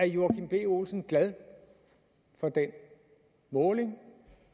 joachim b olsen glad for den måling